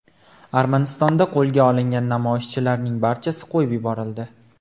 Armanistonda qo‘lga olingan namoyishchilarning barchasi qo‘yib yuborildi.